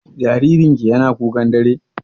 Jaririn ki yana kukan dare?